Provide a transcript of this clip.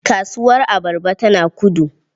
Kasuwar abarba tana Kudu.